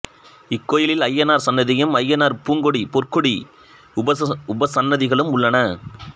இக்கோயிலில் அய்யனார் சன்னதியும் அய்யனார் பூங்கொடி பொற்கொடி உபசன்னதிகளும் உள்ளன